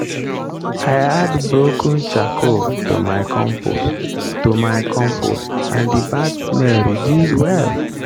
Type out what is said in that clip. i add broken charcoal to my compost to my compost and the bad smell reduce well.